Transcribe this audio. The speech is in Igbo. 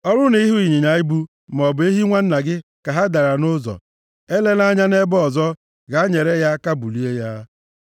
Ọ bụrụ na ị hụ ịnyịnya ibu, maọbụ ehi nwanna gị ka ha dara nʼụzọ, elela anya nʼebe ọzọ, gaa nyere ya aka bulie ya.